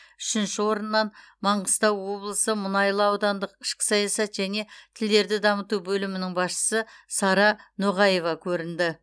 үшінші орыннан маңғыстау облысы мұнайлы аудандық ішкі саясат және тілдерді дамыту бөлімінің басшысы сара ноғаева көрінді